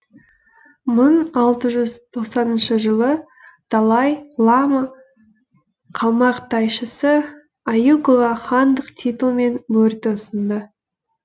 мың алты жүз тоқсаныншы жылы далай лама қалмақ тайшысы аюкаға хандық титул мен мөрді ұсынды